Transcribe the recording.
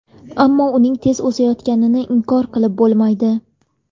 Ammo uning tez o‘sayotganini inkor qilib bo‘lmaydi.